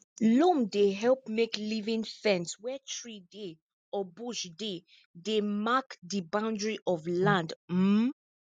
loam dey help make living fence where tree dem or bush dem dey mark di boundary of land um